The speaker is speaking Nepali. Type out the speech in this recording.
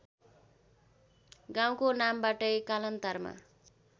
गाउँको नामबाटै कालान्तरमा